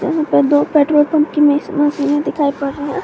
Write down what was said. यहां पे दो पेट्रोल पंप की नई सी मशीने दिखाई पड़ रही है।